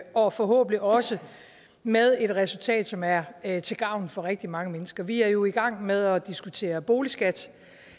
og forhåbentlig også med et resultat som er er til gavn for rigtig mange mennesker vi er jo i gang med at diskutere boligskat